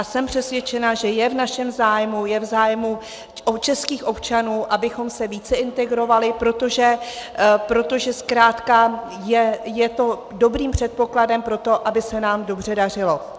A jsem přesvědčena, že je v našem zájmu, je v zájmu českých občanů, abychom se více integrovali, protože zkrátka je to dobrým předpokladem pro to, aby se nám dobře dařilo.